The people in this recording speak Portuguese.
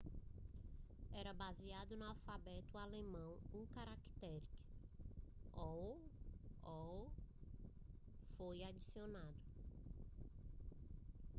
era baseado no alfabeto alemão e um caractere õ/õ foi adicionado